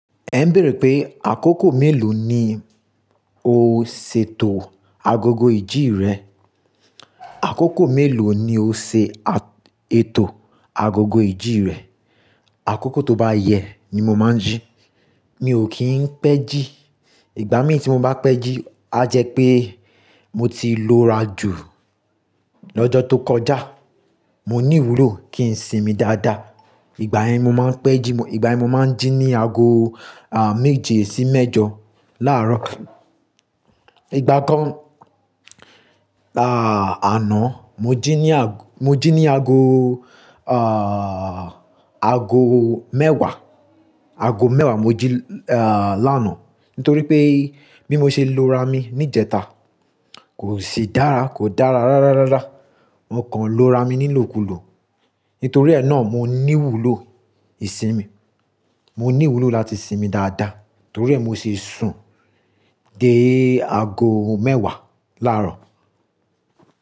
Ẹ béèrè pé àkókò mélòó ni o ṣètò agogo ìjí rẹ? Àkókò mélòó ni o ṣètò agogo ìjí rẹ? Àkókò tó bá yẹ ni mo máa ń jí. Mi ò kí ń pẹ́ jí. Ìgbà mí tí mo bá pẹ́ jí, á jẹ́ pé mo ti lo ra jù lọ́jọ́ tó kọjá. Mo ní ìwúlò kí n sinmi dáadáa. Ìgbà yẹn mo máa ń pẹ́ jí, ìgbà yẹn mo máa ń jí ní aago, méje sí mẹ́jọ láàárọ̀. Anaá, mo jí ní aago mẹ́wàá mo jí lánàá nítorí pé bí mo ṣe lo ra mi níjẹta kò sì dára, kò dára rárárárá. Mo kàn lo ra mi nílòkulò. Nítorí ẹ náà mo ní ìwúlò ìsinmi. Mo ní ìwúlò láti sinmi dáadáa nítorí ẹ mo ṣe sùn dé ago mẹ́wàá láàárọ̀.